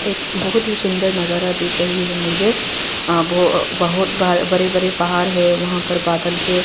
बहुत ही सुंदर नजारा दिख रही है मुझे आ बो अ बहोत बरे बरे पहाड़ है वहां पे बादल से--